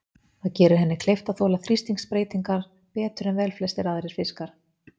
Það gerir henni kleift að þola þrýstingsbreytingar betur en velflestir aðrir fiskar.